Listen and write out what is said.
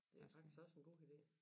Det er faktisk også en god ide